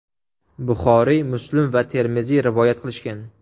Buxoriy, Muslim va Termiziy rivoyat qilishgan.